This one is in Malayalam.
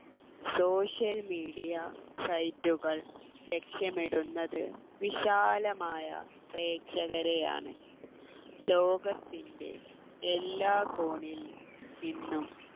social media site കൾ ലക്ഷ്യമിടുന്നത് വിശാലമായ പ്രേക്ഷകരെയാണ് ലോകത്തിൻ്റെ എല്ലാ കോണിൽ നിന്നും